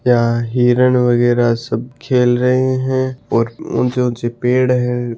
या हिरण वगेरा सब खेल रहे है और ऊँचे ऊँचे पेड़ है।